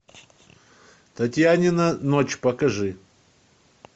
татьянина ночь покажи